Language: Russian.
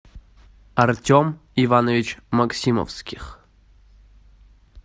артем иванович максимовских